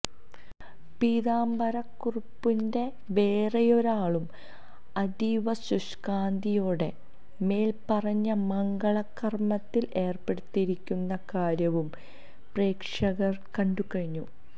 പീതാംബരക്കുറുപ്പിന്റെ വേറെയൊരാളും അതീവശുഷ്ക്കാന്തിയോടെ മേല്പ്പറഞ്ഞ മംഗള കര്മത്തില് ഏര്പ്പെട്ടിരിക്കുന്ന കാര്യവും പ്രേക്ഷകര് കണ്ടുകഴിഞ്ഞു